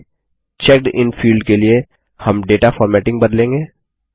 आगे checked in field के लिए हम डेटा फॉरमेटिंग बदलेंगे